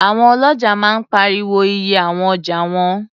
Àwọn ọlọ́ja máa ń pariwo iye àwọn ọjà wọn